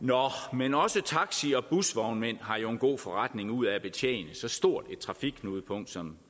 men også taxi og busvognmænd har jo en god forretning ud af at betjene så stort et trafikknudepunkt som